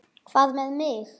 Hvað með mig?